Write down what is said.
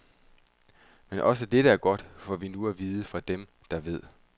Men også dette er godt, får vi nu at vide fra dem, der véd.